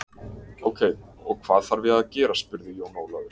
Ókei, og hvað þarf ég að gera spurði Jón Ólafur.